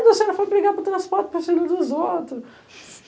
A senhora foi brigar por transporte, para filho dos outros.